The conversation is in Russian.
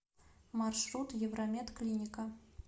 маршрут евромед клиника